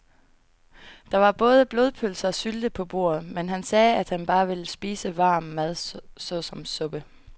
Der var både blodpølse og sylte på bordet, men han sagde, at han bare ville spise varm mad såsom suppe.